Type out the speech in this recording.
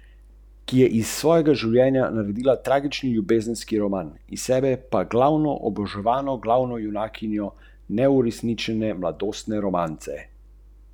Ko se raztopi, odstranite z ognja in malce ohladite, nato dodajte eterična olja in vitamin E ter premešajte.